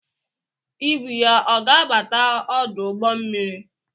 Ibu ya ọ ga-abata ọdụ ụgbọ mmiri?